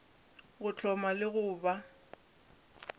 go hloma le go ba